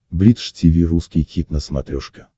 бридж тиви русский хит на смотрешке